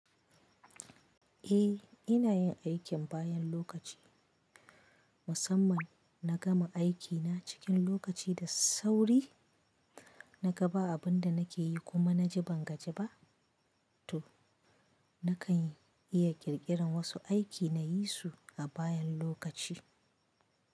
Eh, ina yin aikin bayan lokaci. Musamman na gama aikina cikin lokaci da sauri, na ga ba abin da nake yi kuma na ji ban gajaliba, toh nakan iya ƙirƙiran wasu aiki na yi su a bayan lokaci.